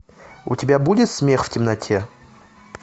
у тебя будет смех в темноте